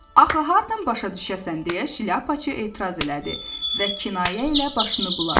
Axı hardan başa düşəsən deyə Şlyapaçı etiraz elədi və kinayə ilə başını buladı.